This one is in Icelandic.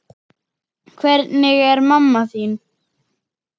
Hvernig er mamma þín?